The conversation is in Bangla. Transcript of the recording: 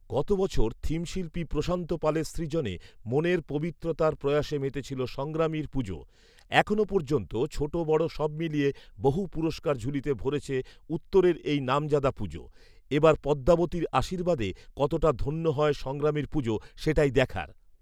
গত বছর থিমশিল্পী প্রশান্ত পালের সৃজনে মনের পবিত্রতার প্রয়াসে মেতেছিল সংগ্রামীর পুজো। এখনও পর্যন্ত ছোট বড় সব মিলিয়ে বহু পুরস্কার ঝুলিতে ভরেছে উত্তরের এই নামজাদা পুজো৷ এবার পদ্মাবতীর আশীর্বাদে কতটা ধন্য হয় সংগ্রামীর পুজো সেটাই দেখার।